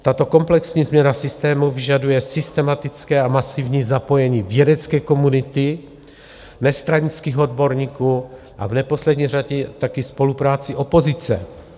Tato komplexní změna systému vyžaduje systematické a masivní zapojení vědecké komunity nestranických odborníků a v neposlední řadě taky spolupráci opozice.